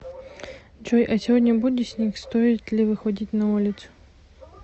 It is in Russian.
джой а сегодня будет снег стоит ли выходить на улицу